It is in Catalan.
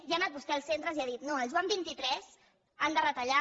i ha anat vostè als centres i ha dit no al joan xxiii han de retallar